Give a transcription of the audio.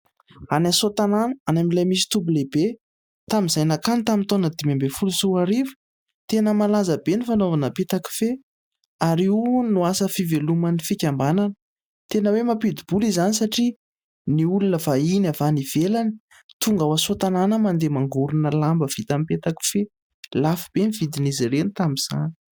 Any Soatanana any amin'ilay misy toby lehibe. Tamin'izay nankany tamin'ny taona dimy ambin'ny folo sy roa arivo tena malaza be ny fanaovana petakofehy ary io no asa fiveloman'ny fikambanana. Tena hoe mampidi-bola izany satria ny olona vahiny avy any ivelany tonga ao Soatanana mandeha mangorona lamba vita amin'ny petakofehy. Lafo be ny vidin'izy ireny tamin'izany.